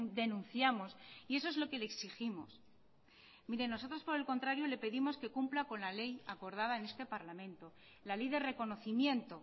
denunciamos y eso es lo que le exigimos mire nosotros por el contrario le pedimos que cumpla con la ley acordad en este parlamento la ley de reconocimiento